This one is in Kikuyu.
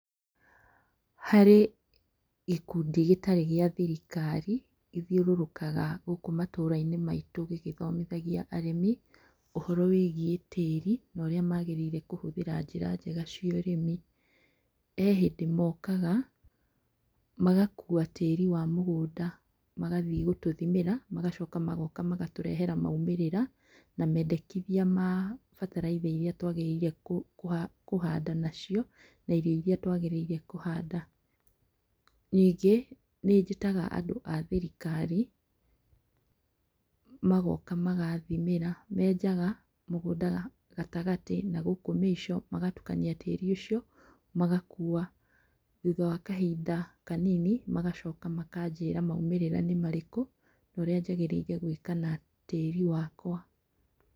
Harĩ gĩkundi gĩtarĩ gĩa thirikari gĩthiurũrũkaga gũkũ matũra-inĩ maitũ gĩgĩthomithagia arĩmi ũhoro wĩgiĩ tĩri na ũrĩa magĩrĩire kũhũthĩra njĩra njega cia ũrĩmi. Kwĩ hĩndĩ mokaga magakuua tĩĩri wa mũgũnda magathiĩ gũtũthimĩra magacoka magooka magatũrehera maumĩrĩra, na mendekithia ma bataraitha iria twagĩrĩire kuhaanda nacio na irio iria twagĩrĩire kuhaanda. Ningĩ, nĩnjĩtaga andũ a thirikari magooka magathimĩra. Menjaga mũgũnda gatagatĩ na gũkũ mĩico magatukania tĩri ũcio, magakuua. Thutha wa kahinda kanini magacoka makanjĩra maumĩrĩra nĩ marĩkũ, na ũrĩa njagĩrĩire gwĩka na tĩĩri wakwa.